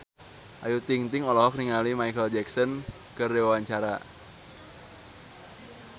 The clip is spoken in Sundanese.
Ayu Ting-ting olohok ningali Micheal Jackson keur diwawancara